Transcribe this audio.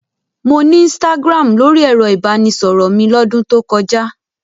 Mo ní Instagram lórí ẹ̀rọ-ìbánisọ̀rọ̀ mi lọ́dún tó kọjá.